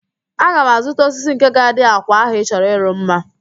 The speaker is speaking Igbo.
Aga m azụta osisi nke ga-adị àkwà ahụ ị chọrọ ịrụ mma